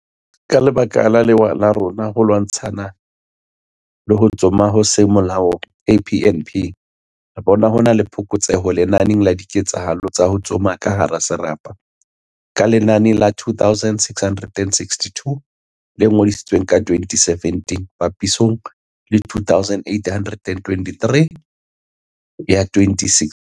"Ka lebaka la lewa la rona la ho lwantsha ho tsoma ho seng molaong KNP, re bona ho na le phokotseho lenaneng la diketsahalo tsa ho tsoma ka hara serapa, ka lenane la 2662 le ngodisitsweng ka 2017 papisong le 2883 ya 2016."